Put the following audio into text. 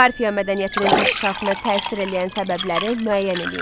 Parfiya mədəniyyətinin inkişafına təsir eləyən səbəbləri müəyyən eləyin.